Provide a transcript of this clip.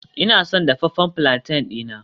Ina son dafaffen palantin dina